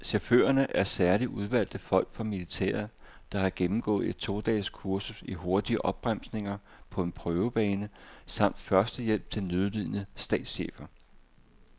Chaufførerne er særligt udvalgte folk fra militæret, der har gennemgået et to dages kursus i hurtige opbremsninger på en prøvebane samt førstehjælp til nødlidende statschefer.